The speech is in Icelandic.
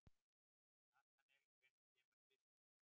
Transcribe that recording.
Natanael, hvenær kemur tvisturinn?